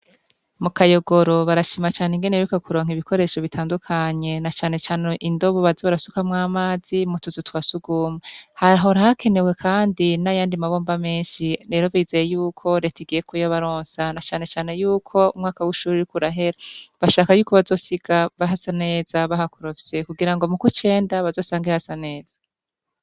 Mu Kayogoro barashima cane ingene baheruka kuronka ibikoresho bitandukanye na canecane indobo baza barasukamwo amazi mu tuzu twa sugumwe, hahora hakenewe kandi n'ayandi mabomba menshi rero bizeye yuko reta igiye kuyabaronsa na canecane yuko umwaka w'ishuri uriko urahera, bashaka yuko bazosiga hasa neza bahakorofye kugira ngo mu kw'icenda bazosange hasa neza.